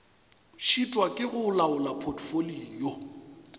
šitwa ke go laola potfolio